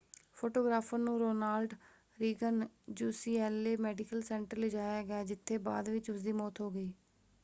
Photographer ਨੂੰ Ronald Reagan UCLA Medical Center ਲਿਜਾਇਆ ਗਿਆ ਜਿੱਥੇ ਬਾਅਦ ਵਿੱਚ ਉਸਦੀ ਮੌਤ ਹੋ ਗਈ।